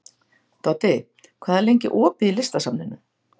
Doddi, hvað er lengi opið í Listasafninu?